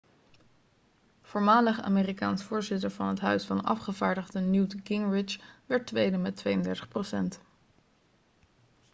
voormalig amerikaans voorzitter van het huis van afgevaardigden newt gingrich werd tweede met 32 procent